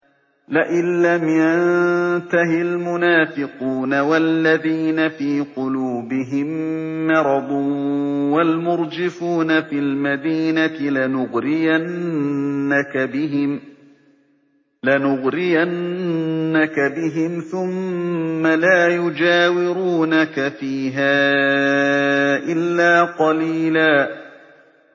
۞ لَّئِن لَّمْ يَنتَهِ الْمُنَافِقُونَ وَالَّذِينَ فِي قُلُوبِهِم مَّرَضٌ وَالْمُرْجِفُونَ فِي الْمَدِينَةِ لَنُغْرِيَنَّكَ بِهِمْ ثُمَّ لَا يُجَاوِرُونَكَ فِيهَا إِلَّا قَلِيلًا